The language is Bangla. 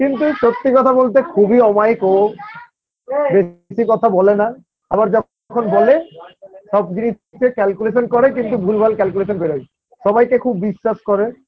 কিন্তু সত্যি কথা বলতে খুবই অমায়িক ও বে বেশি কথা বলে না আবার যখন বলে সব জিনিসকে calculation করে কিন্তু ভুলভাল calculation বেরোয় সবাইকে খুব বিশ্বাস করে